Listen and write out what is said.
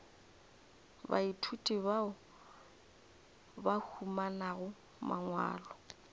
baithuti bao ba humanago mangwalo